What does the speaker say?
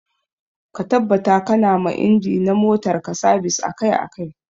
Ka tabbata ƙana ma inji na motar ka sabis akai akai.